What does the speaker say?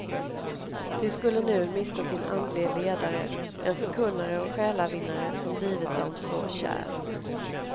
De skulle nu mista sin andlige ledare, en förkunnare och själavinnare som blivit dem så kär.